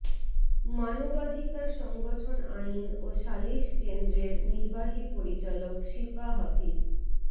মানবাধিকার সংগঠন আইন ও শালিস কেন্দ্রের নির্বাহী পরিচালক শীপা হাফিজ